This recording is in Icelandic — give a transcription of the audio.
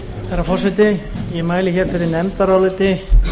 herra forseti ég mæli hér fyrir nefndaráliti